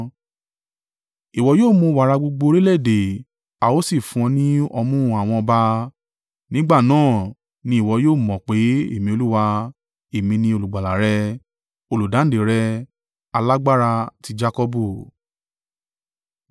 Ìwọ yóò mu wàrà gbogbo orílẹ̀-èdè a ó sì fun ọ́ ni ọmú àwọn ọba. Nígbà náà ni ìwọ yóò mọ̀ pé, Èmi Olúwa, èmi ni Olùgbàlà rẹ, Olùdáǹdè rẹ, Alágbára ti Jakọbu.